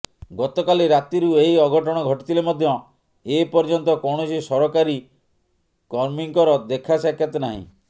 ଗତକାଲି ରାତିରୁ ଏହି ଅଘଟଣ ଘଟିଥିଲେ ମଧ୍ୟ ଏ ପର୍ୟ୍ୟନ୍ତ କୌଣସି ସରକାରୀ କର୍ମୀଙ୍କର ଦେଖାସାକ୍ଷାତ ନାହିଁ